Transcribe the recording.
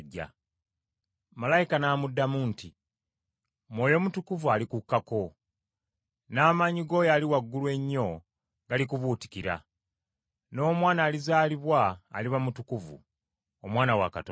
Malayika n’amuddamu nti, “Mwoyo Mutukuvu alikukkako, n’amaanyi g’Oyo Ali Waggulu Ennyo galikubuutikira, n’omwana alizaalibwa aliba mutukuvu, Omwana wa Katonda.